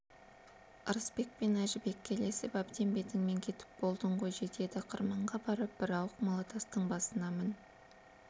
ырысбек пен әжібекке ілесіп әбден бетіңмен кетіп болдың ғой жетеді енді қырманға барып бір ауық малатастың басына мін